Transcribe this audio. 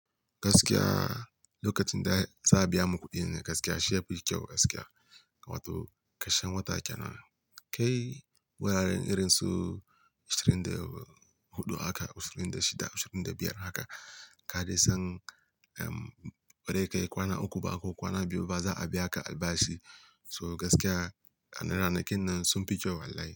Gaskiya lokacin da za biya mukuɗi ne gaskiya shi yafi kyau gaskiya. Wato kashen wata kenan kai wuraren irin su ashirin da huɗu haka, ashirin da shida, ashirin da biyar haka ka dai san bazai kai kwana uku ba ko kwana biyu ba za a biya ka albashi. So gaskiya ranar nan kin nan sun fi kyau wallahi.